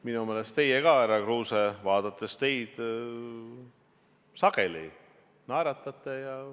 Minu meelest ka teie, härra Kruuse, sageli naeratate.